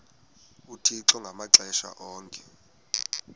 uthixo ngamaxesha onke